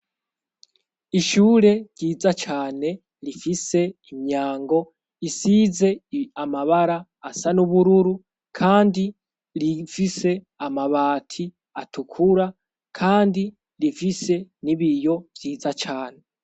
Ishure ryiza cane rifise imyango isize amabara asa n'ubururu, kandi rifise amabati atukura, kandi rifise ni biyo vyiza cane.